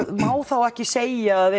má þá ekki segja að